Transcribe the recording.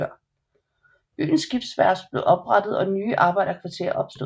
Byens skibsværft blev oprettet og nye arbejderkvarterer opstod